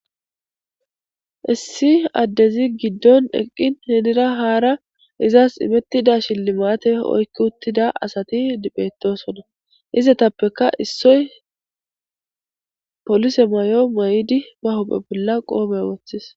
Issi adezi giddon eqin henira haara izasi inetida shilmate oyki utida asati betosona. Izetappeka issoy polise mayo mayidi ba huphe bolla qope wothis.